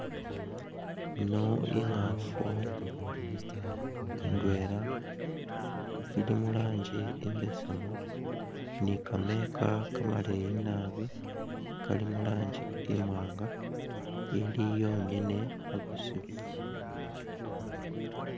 Yino i'ngaafu ndwela ili mu rangi imbesemu ni kamayika kamaleyi nabi kali mu rangi imwaanga, ili yongene musiiru.